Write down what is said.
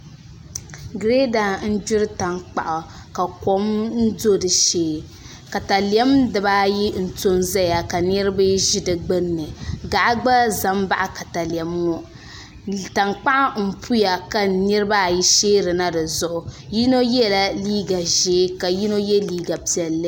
Girɛda n gbiri tankpaɣu ka kom do di shee katalɛm dibaayi n to n ʒɛya ka niraba ʒi di gbunni gaɣa gba ʒɛ n baɣa katalɛm ŋo gaɣa n puya ka niraba sheerina dizuɣu yino yɛla liiga ʒiɛ ka yino yɛ liiga piɛlli